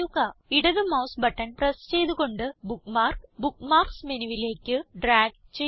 ഇടത് mouse button press ചെയ്ത് കൊണ്ട് ബുക്ക്മാർക്ക് ബുക്ക്മാർക്സ് മെനുവിലേക്ക് ഡ്രാഗ് ചെയ്യുക